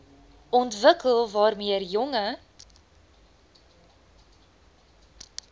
ontwikkel waarmee jonger